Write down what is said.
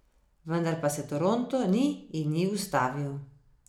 Vendar pa se Toronto ni in ni ustavil.